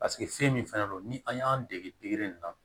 Paseke fɛn min fɛnɛ don ni an y'an dege nin na